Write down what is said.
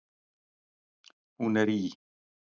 Hún er í